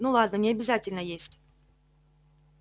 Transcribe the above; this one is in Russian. ну ладно не обязательно есть